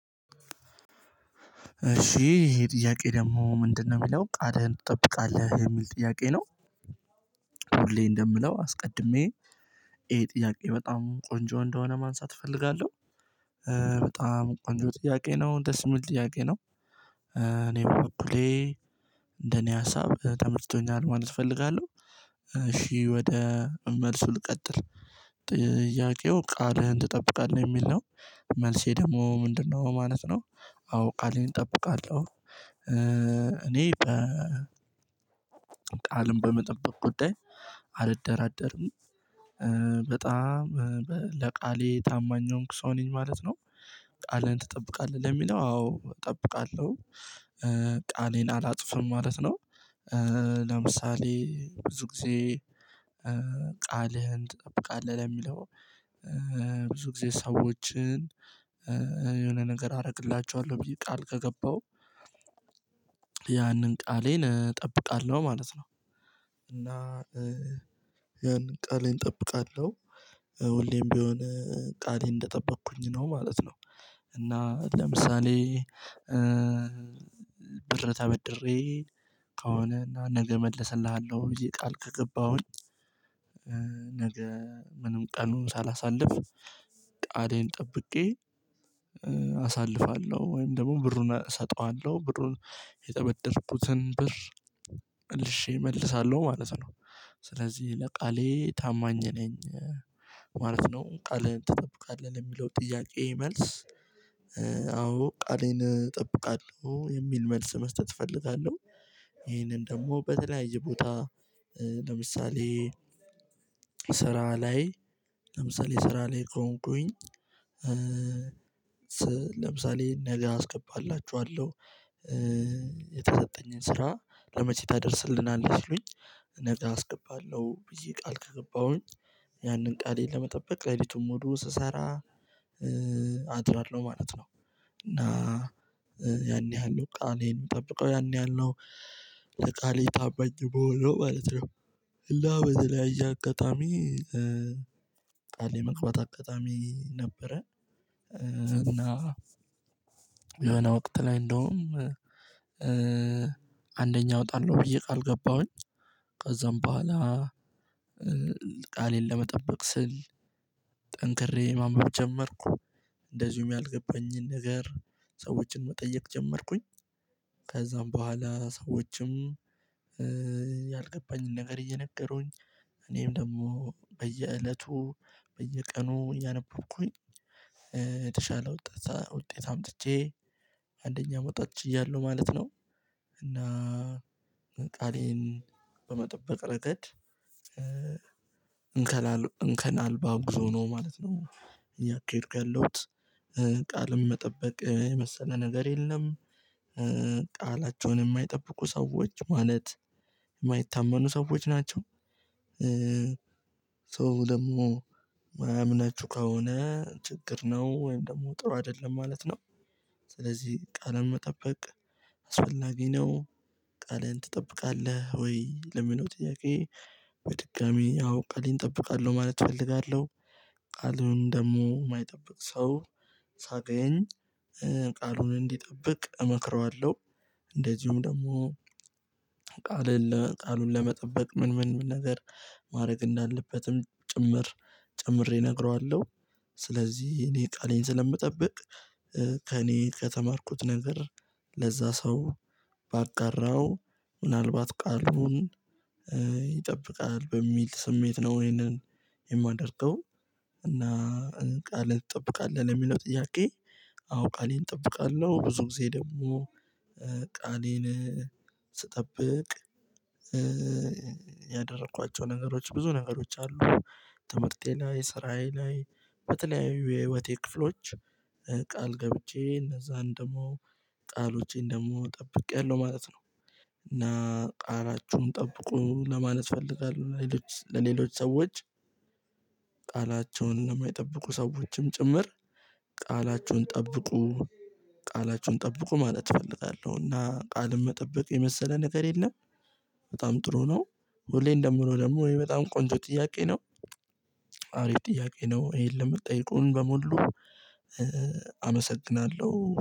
እሺ ይሄ ጥያቄ ደግሞ ምንድነው የሚለው ቃልህን ትጠብቃለህ የሚል ጥያቄ ነው? ሁሌ እንደምለው አስቀድሜ ይሄ ጥያቄ በጣም ቆንጆ እንደሆነ ማንሳት እፈልጋለሁ። በጣም ቆንጆ ጥያቄ ነው ደስ የሚል ጥያቄ ነው። እኔ በኩሌ ይሄ ሀሳብ ተመችቶኛል ማለት እፈልጋለሁ። እሺ ወደ መልሱ ልቀጥል ጥያቄው ቃልህን ትጠብቃለህ የሚል ነው። መልሴ ደግሞ ምንድነው ማለት ነው? አዎ ቃሌን እጠብቃለሁ። እኔ ቃልም በመጠበቅ ጉዳይ አልደራደርም። በጣም ለቃሌ ታማኝ የሆንኩ ሰው ነኝ ማለት ነው። ቃልህን ትጠብቃለህ ለሚለው አዎ እጠብቃለሁ። ቃሌን አላጥፍም ማለት ነው። ለምሳሌ ብዙ ጊዜ ቃልህን ትጠብቃለህ ለሚለው ብዙ ጊዜ ሰዎችን የሆነ ነገር አረግላችኋለሁ ብዬ ቃል ከገባሁ ያንን ቃሌን እጠብቃለሁ ማለት ነው። እና ያን ቃሌን እጠብቃለሁ ሁሌም ቢሆን ቃሌን እንደጠበኩኝ ነው ማለት ነው። እና ለምሳሌ ብር ተበድሬ ከሆነ እና ነገ እመለስልሃለሁ ብዬ ቃል ከገባሁኝ ነገ ምንም ቀኑን ሳላሳልፍ ቃሌን ጠብቄ አሳልፋለሁ ወይም ደግሞ ብሩን እሰጠዋለሁ ብሩን የተበደርኩትን ብር መልሼ እመልሳለሁ ማለት ነው። ስለዚህ ለቃሌ ታማኝ ነኝ ማለት ነው። ቃልህን ትጠብቃለህ ለሚለው ጥያቄ መልስ አዎ ቃሌን እጠብቃለሁ የሚል መልስ መስጠት እፈልጋለሁ። ይሄንን ደግሞ በተለያየ ቦታ ለምሳሌ ስራ ላይ ለምሳሌ ስራ ላይ ከሆንኩኝ ለምሳሌ ነገ አስገባላችኋለሁ የተሰጠኝን ስራ ለመቼ ታደርስልናለህ ሲሉኝ ነገ አስገባለሁ ብዬ ቃል ከገባሁኝ ያንን ቃሌን ለመጠበቅ ሌሊቱን ሙሉ ስሰራ አድራለሁ ማለት ነው። እና ያን ያህል ነው ቃሌን የምጠብቀው ያን ያህል ነው። ለቃሌ ታማኝ ምሆነው ማለት ነው። እና በተለያየ አጋጣሚ ቃል የመግባት አጋጣሚ ነበረ። እና የሆነ ወቅት ላይ እንደውም አንደኛው እወጣለሁ ብዬ ቃል ገባሁኝ ከዛም በኋላ ቃሌን ለመጠበቅ ስል ጠንክሬ ማንበብ ጀመርኩ። እንደዚሁም ያልገባኝን ነገር ሰዎችን መጠየቅ ጀመርኩኝ። ከዛም በኋላ ሰዎችም ያልገባኝን ነገር እየነገሩኝ እኔም ደግሞ በየእለቱ በየቀኑ እያነበብኩኝ የተሻለ ወጣት ውጤት አምጥቼ አንደኛ መውጣት ችያለሁ ማለት ነው። እና ቃሌን በመጠበቅ ረገድ እንከን እንከን አልባ ጉዞ ነው ማለት ነው። እያካሄድኩ ያለሁት ቃልም መጠበቅ የመሰለ ነገር የለም። ቃላቸውን የማይጠብቁ ሰዎች ማለት የማይታመኑ ሰዎች ናቸው። ሰው ደግሞ ማያምናቹ ከሆነ ችግር ነው ወይም ደግሞ ጥሩ አይደለም ማለት ነው። ስለዚህ ቃልን መጠበቅ አስፈላጊ ነው። ቃልህን ትጠብቃለህ ወይ ለሚለው ጥያቄ በድጋሚ አዎ ቃሌን እጠብቃለሁ ማለት እፈልጋለሁ። ቃልን ደግሞ የማይጠብቅ ሰው ሳገኝ ቃሉን እንዲጠብቅ እመክረዋለሁ። እንደዚሁም ደግሞ ቃሉን ለመጠበቅ ምን ምን ምን ነገር ማድረግ እንዳለበትም ጭምር ጨምሬ እነግረዋለሁ። ስለዚህ እኔ ቃሌን ስለምጠብቅ ከእኔ ከተማርኩት ነገር ለዛ ሰው ባጋራው ምናልባት ቃሉን ይጠብቃል በሚል ስሜት ነው ይሄንን የማደርገው። እና ቃልን ትጠብቃለህ ለሚለው ጥያቄ አዎ ቃሌን እጠብቃለሁ ብዙ ጊዜ ደግሞ ቃሌን ስጠብቅ ያደረኳቸው ነገሮች ብዙ ነገሮች አሉ። ትምህርቴ ላይ ስራዬ ላይ በተለያዩ የህይወቴ ክፍሎች ቃል ገብቼ እነዛን ደግሞ ቃሎቼን ደግሞ ጠብቄያለሁ ማለት ነው። እና ቃላቹን ጠብቁ ለማለት እፈልጋለሁ ለሌሎች ለሌሎች ሰዎች ቃላቸውን ለማይጠብቁ ሰዎችም ጭምር ቃላችሁን ጠብቁ ቃላችሁን ጠብቁ ማለት እፈልጋለሁ። እና ቃልን መጠበቅ የመሰለ ነገር የለም። በጣም ጥሩ ነው ሁሌም እንደምለው ደግሞ ይህ በጣም ቆንጆ ጥያቄ ነው። ጥያቄ ነው ይሄን ለምጠየቁን በሙሉ አመሰግናለሁ